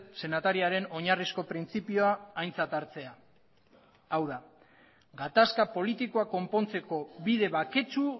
senatariaren oinarrizko printzipioa aintzat hartzea hau da gatazka politikoak konpontzeko bide baketsu